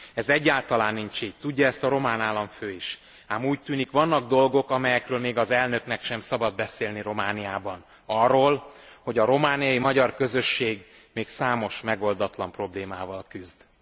Ez egyáltalán nincs így, tudja ezt a román államfő is, ám úgy tűnik, vannak dolgok, amelyekről még az elnöknek sem szabad beszélni Romániában arról, hogy a romániai magyar közösség még számos megoldatlan problémával küzd.